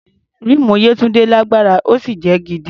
Ríìmù Yétúndé lágbára, ó sì jẹ́ gidi.